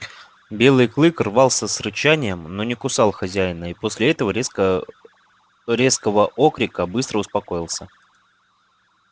белый клык рвался с рычанием но не кусал хозяина и после этого резко резкого окрика быстро успокоился